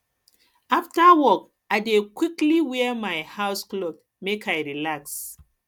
afta work i dey quickly wear my house clothes make i relax